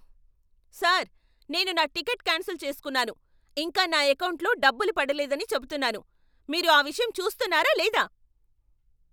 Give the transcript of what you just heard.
Sir! నేను నా ticket cancel చేసుకున్నాను, ఇంకా నా ఎకౌంటులో డబ్బులు పడలేదని చెప్తున్నాను. మీరు ఆ విషయం చూస్తున్నారా లేదా?